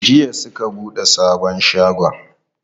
Jiya suka buɗe sabon shagon.